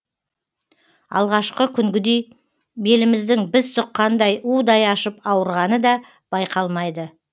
алғашқы күнгідей беліміздің біз сұққандай удай ашып ауырғаны да байқалмайды